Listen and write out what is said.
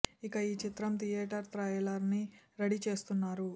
ఇక ఈ చిత్రం థియోటర్ ట్రైలర్ ని రెడీ చేస్తున్న్రారు